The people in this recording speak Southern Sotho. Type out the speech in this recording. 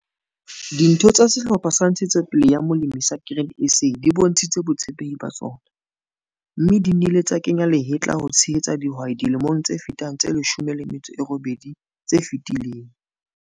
Ditho tsa sehlopha sa Ntshetsopele ya Molemi sa Grain SA di bontshitse botshepehi ba tsona, mme di nnile tsa kenya lehetla ho tshehetsa dihwai dilemong tse fetang tse 18 tse fetileng.